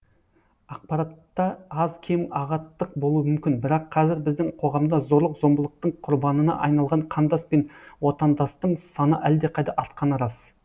ақпаратта аз кем ағаттық болу мүмкін бірақ қазір біздің қоғамда зорлық зомбылықтың құрбанына айналған қандас пен отандастың саны әлдеқайда артқаны рас